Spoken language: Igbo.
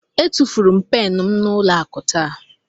Etufuru m pen m n'ụlọ akụ taa.